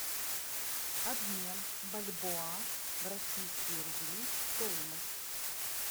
обмен бальбоа в российские рубли стоимость